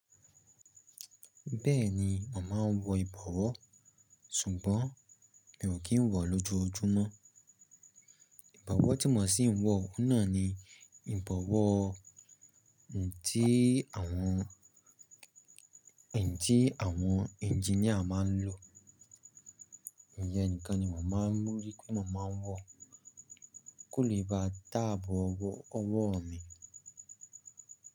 Bẹ́ẹ̀ni, mo maa wọ ìbọwọ́ sùgbọ́n mi ò kí ń wọ̀ lójojúmọ́. Ìbọwọ́ tí mo ṣì ń wọ ohun náà ni ìbọwọ́ tí àwọn ẹngineer máa ń lò. Iyen nìkan ni mo màá mú rí, ti mo màá n wọ kò lè ba táàbù ọwọ́ mi.